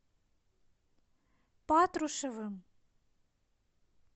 патрушевым